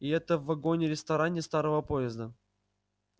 и это в вагоне-ресторане старого поезда